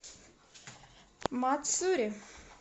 мацури